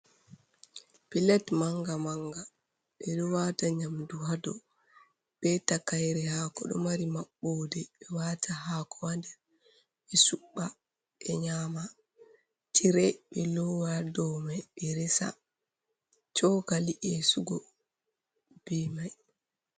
Pilet manga-manga. Ɓe ɗo waata nyamdu ha dou, be takaire haako, ɗo mari maɓɓode, ɓe waata haako ha nder ɓe suɓɓa, ɓe nyama. Tire ɓe lowa ha dou mai, ɓe resa cokali esugo, be mai.